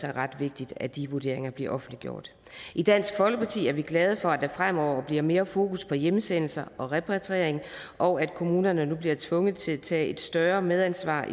er ret vigtigt at de vurderinger bliver offentliggjort i dansk folkeparti er vi glade for at der fremover bliver mere fokus på hjemsendelse og repatriering og at kommunerne nu bliver tvunget til at tage et større medansvar